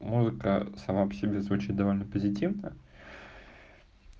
музыка сама по себе звучит довольно позитивно